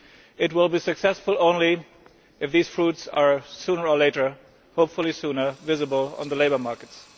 It will be successful only if these fruits are sooner or later hopefully sooner visible on the labour markets.